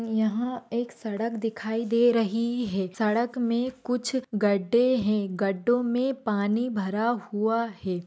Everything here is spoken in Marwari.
यहां एक सड़क दिखाई दे रही है सड़क में कुछ गड्ढे है गड्डो में पानी भरा हुआ है।